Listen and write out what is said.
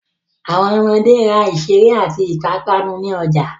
Àwọn ọmọde ra ìṣeré àti ìpápánu ní ọjà.